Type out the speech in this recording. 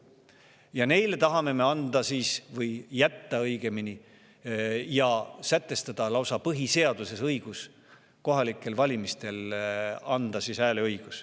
Ja neile me tahame anda või õigemini jätta ja sätestada lausa põhiseaduses õiguse kohalikel valimistel hääletada!